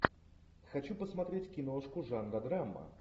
хочу посмотреть киношку жанра драма